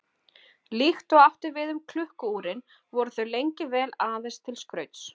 Líkt og átti við um klukku-úrin voru þau lengi vel aðeins til skrauts.